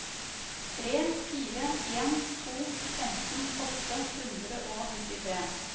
tre fire en to femten åtte hundre og nittitre